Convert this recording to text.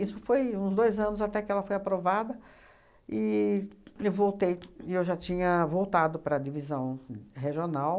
foi uns dois anos até que ela foi aprovada e eu voltei e eu já tinha voltado para a divisão regional.